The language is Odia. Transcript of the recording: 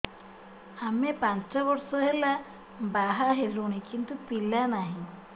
ଆମେ ପାଞ୍ଚ ବର୍ଷ ହେଲା ବାହା ହେଲୁଣି କିନ୍ତୁ ପିଲା ନାହିଁ